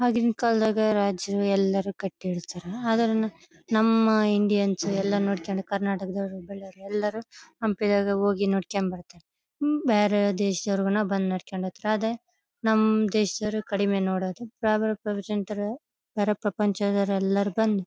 ಆಗಿನ ಕಾಲದಾಗ ರಾಜರು ಎಲ್ಲರು ಕಟ್ಟಿರ್ತ್ತರ ನಮ್ಮ ಇಂಡಿಯನ್ಸ್ ಎಲ್ಲ ನೋಡ್ಕೊಂಡು ಕರ್ನಾಟಕದವರು ಬಳ್ಳಾರಿ ಎಲ್ಲರು ಹಂಪಿದಾಗ ಹೋಗಿ ನೋಡ್ಕೊಂಡು ಬರ್ತಾರಾ ಹ್ಮ್ ಬೇರೆ ದೇಶದವರು ಕೂಡ ಬಂದು ನೋಡ್ಕೊಂಡು ಹೋಗ್ತಾರೆ ಅದೇ ನಮ್ ದೇಶದವರು ಕಡಿಮೆ ನೋಡೋದು ಬೇರೆ ಪ್ರಪಂಚದವರು ಎಲ್ಲರು ಬಂದು--